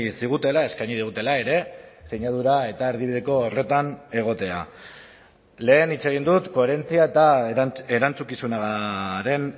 zigutela eskaini dutela ere sinadura eta erdibideko horretan egotea lehen hitz egin dut koherentzia eta erantzukizunaren